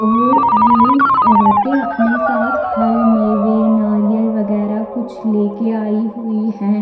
और ये अवेते अपने साथ फल मेवे नारियल वगैरा कुछ लेके आई हुई हैं।